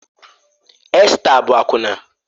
Esta bụ akwụna